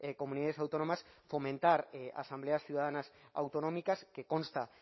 comunidades autónomas fomentar asambleas ciudadanas autonómicas que consta